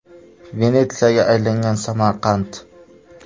Venetsiyaga aylangan Samarqand.